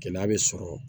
Gɛlɛya bɛ sɔrɔ